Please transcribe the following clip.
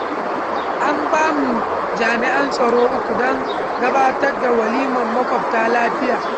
An bamu jami'an tsaro uku, don gabatar da walimar makwabta lafiya.